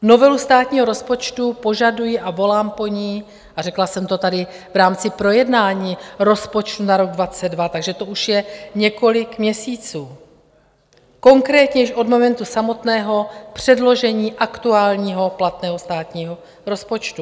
Novelu státního rozpočtu požaduji a volám po ní, a řekla jsem to tady v rámci projednání rozpočtu na rok 2022, takže to už je několik měsíců, konkrétně už od momentu samotného předložení aktuálního platného státního rozpočtu.